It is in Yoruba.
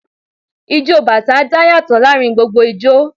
Ijó bàtá dá yàtọ̀ láàárín gbogbo ijó